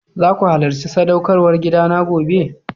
Zaku halacci sadaukarwar gida na gobe?